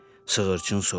Sığırçın soruşdu: